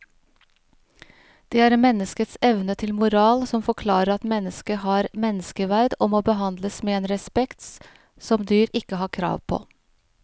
Det er menneskets evne til moral som forklarer at mennesket har menneskeverd og må behandles med en respekt som dyr ikke har krav på.